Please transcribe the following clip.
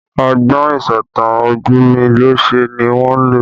Ọgbọ́n ìsọ̀tàn ojumilose ni wọ́n lò